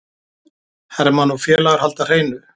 Hermann og félagar halda hreinu